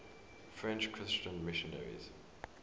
french christian missionaries